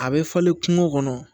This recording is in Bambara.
A bɛ falen kungo kɔnɔ